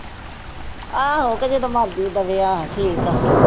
ਆਹੋ ਕਹੇ ਜਦੋਂ ਮਰਜੀ ਦੇਵੇ ਆਹੋ ਠੀਕ ਆ।